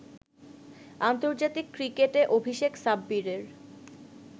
আন্তর্জাতিক ক্রিকেটে অভিষেক সাব্বিরের